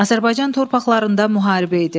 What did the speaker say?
Azərbaycan torpaqlarında müharibə idi.